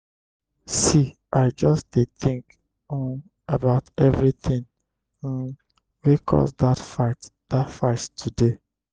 see i just dey tink um about everytin um wey cause dat fight dat fight today.